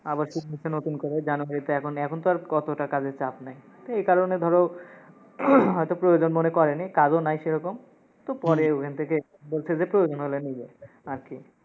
আবার নতুন করে January -তে এখন, এখন তো আর অতোটা কাজের চাপ নাই। এই কারণে ধরো, হয়তো প্রয়োজন মনে করেনি, কাজও নাই সেরকম, তো পরে ওইখান থেকে বলসে যে প্রয়োজন হলে নিবে, আর কি।